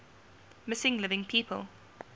missing living people